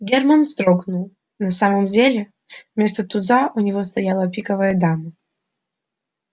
германн вздрогнул на самом деле вместо туза у него стояла пиковая дама